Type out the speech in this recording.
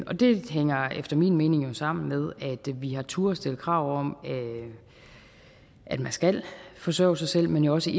og det hænger efter min mening sammen med at vi har turdet stille krav om at man skal forsørge sig selv men jo også